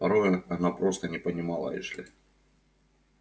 порою она просто не понимала эшли